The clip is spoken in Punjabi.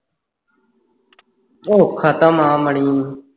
ਉਹ ਖਾਤਮ ਆ ਮਣੀ